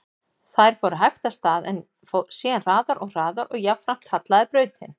Þær fóru hægt af stað, en síðan hraðar og hraðar og jafnframt hallaði brautin.